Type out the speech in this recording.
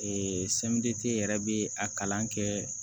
Ee semɛriti yɛrɛ bɛ a kalan kɛ